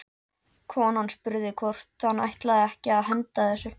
Konan spurði hvort hann ætlaði ekki að henda þessu.